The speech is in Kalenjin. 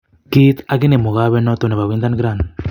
Kiit aginee mugawet noton nebo Wyndhan Grand.